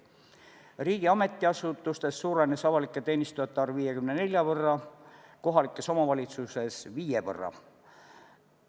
Riigi ametiasutustes suurenes avalike teenistujate arv 54 võrra, kohalikes omavalitsustes viie võrra.